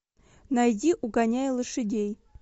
найди угоняя лошадей